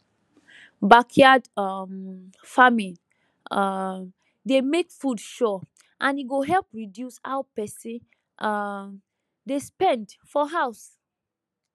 backyard um farming um dey make food sure and e go help reduce how person um dey spend for house